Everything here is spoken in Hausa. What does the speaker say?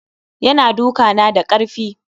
Ya na duka na da karfi.